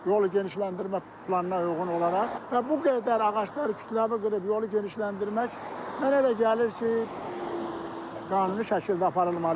Yolu genişləndirmə planına uyğun olaraq və bu qədər ağaclar kütləvi qırıb yolu genişləndirmək mənə elə gəlir ki, qanuni şəkildə aparılmalı idi.